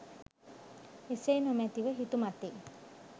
එසේ නොමැති ව හිතුමතේ